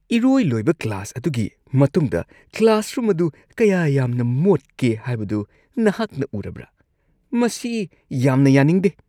ꯏꯔꯣꯏ-ꯂꯣꯏꯕ class ꯑꯗꯨꯒꯤ ꯃꯇꯨꯡꯗ classroom ꯑꯗꯨ ꯀꯌꯥ ꯌꯥꯝꯅ ꯃꯣꯠꯀꯦ ꯍꯥꯏꯕꯗꯨ ꯅꯍꯥꯛꯅ ꯎꯔꯕ꯭ꯔꯥ? ꯃꯁꯤ ꯌꯥꯝꯅ ꯌꯥꯅꯤꯡꯗꯦ ꯫